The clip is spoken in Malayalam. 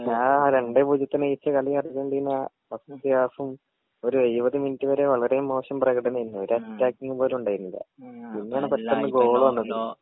ആ രണ്ടേ പൂജ്യത്തിന് ജയിച്ച കളി അർജന്റീന ഫസ്റ്റ് ത്തെ ഹാൾഫും ഒര് എഴുവത് മിനുറ്റ് വരെ വളരെ മോശം പ്രകടനേര്ന്നു ഒര അറ്റാകിങ്‌ പോലുണ്ടായിരുന്നില്ല പിന്നെ ആണ് പെട്ടന്ന് ഗോൾ വന്നത്